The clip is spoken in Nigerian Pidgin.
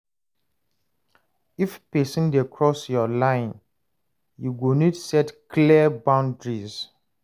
If pesin dey cross yur line, yu go nid set clear boundaries.